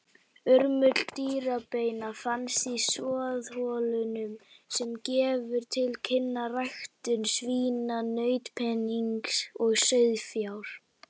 Urmull dýrabeina fannst í soðholunum sem gefur til kynna ræktun svína, nautpenings og sauðfjár.